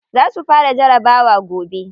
Za su fara jarabawa gobe.